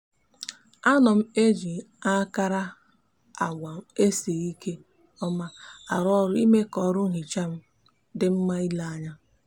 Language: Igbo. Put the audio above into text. a no m eji akarangwa esijiri nke oma aru oru ime ka oru nhicha m di nma ile anya